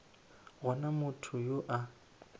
go na motho yo a